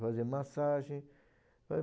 fazer massagem